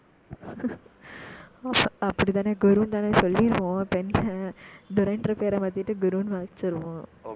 அப்படித்தானே, குருன்னுதானே சொல்லிருவோம். இப்ப என்ன துரைன்ற பேரை மாத்திட்டு, குருன்னு வச்சிருவான்.